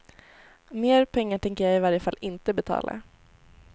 Mer pengar tänker jag i varje fall inte betala.